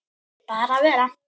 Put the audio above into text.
Bara vera.